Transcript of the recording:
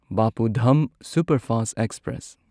ꯕꯥꯄꯨ ꯙꯝ superfast express